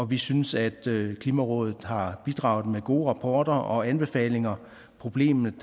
vi synes at klimarådet har bidraget med gode rapporter og anbefalinger problemet